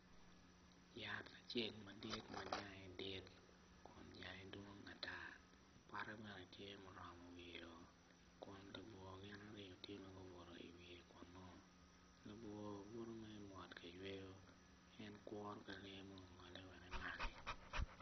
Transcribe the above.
Yat acel madit majange dit kun jange dwong ata pote bene tye ma oromo wiye o kun labwor gin i rii tye ma owoto i wiye kunu labwor butu mere mot kaywewo en kuro ka wek oryem ongole wek emaki.